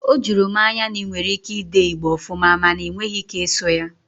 O juru m anya na i nwere ike i dee Igbo ofuma mana na ị nweghị ike ịsụ ya